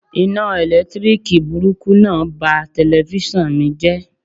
Iná ẹ̀lẹ́tíríkì burúkú náà ba telifíṣàn mi jẹ́.